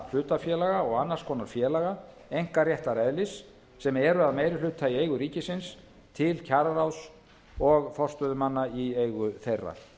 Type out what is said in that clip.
hlutafélaga og annars konar félaga einkaréttareðlis sem eru að meiri hluta í eigu ríkisins til kjararáðs og forstöðumanna í eigu þeirra